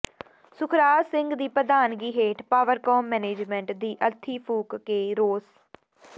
ਸੁਖਰਾਜ ਸਿੰਘ ਦੀ ਪ੍ਰਧਾਨਗੀ ਹੇਠ ਪਾਵਰਕਾਮ ਮੈਨੇਜਮੈਂਟ ਦੀ ਅਰਥੀ ਫੂਕ ਕੇ ਰੋਸ